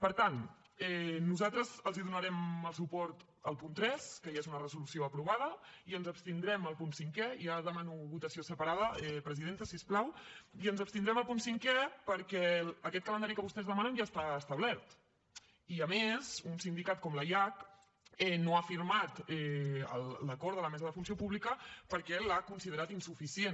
per tant nosaltres els donarem el suport al punt tres que ja és una resolució aprovada i ens abstindrem al punt cinquè ja demano votació separada presidenta si us plau perquè aquest calendari que vostès demanen ja està establert i a més un sindicat com la iac no ha firmat l’acord de la mesa de funció pública perquè l’ha considerat insuficient